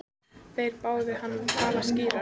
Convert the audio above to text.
Þeir báðu hann að tala skýrar.